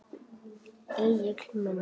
Egill minn.